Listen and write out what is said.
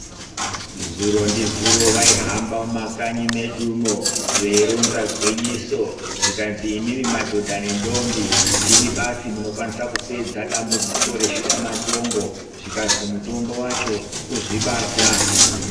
Zuro ndizuro vaihamba mumakanyi medumo veironza gwinyiso, zvikazi imimi madhodha nendombi ndimi basi munokwanisa kupedza dambudziko reshuramatongo. Zvikazi mutombo wacho, kuzvibata